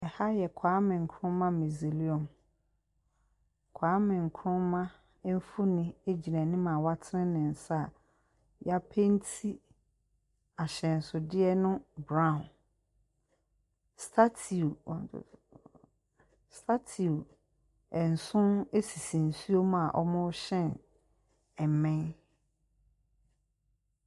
Ha yɛ Kwame Nkrumah museium. Kwame Nkruma mfonin gyina anim a watene ne nsa a wɔapenti ahyɛnsodeɛ no brown. Statue, one, two, three . A. A. A statue nson sisi nsuo mu a wɔrehyɛn mmɛn.